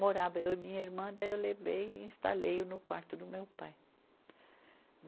Morava eu e minha irmã, daí eu levei e instalei-o no quarto do meu pai.